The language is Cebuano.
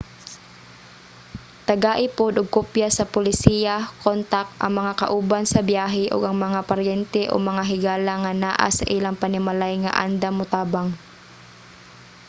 tagai pod og kopya sa polisiya/kontak ang mga kauban sa biyahe ug ang mga paryente o mga higala nga naa sa ilang panimalay nga andam motabang